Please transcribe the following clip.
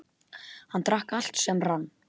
Hann drakk allt sem rann.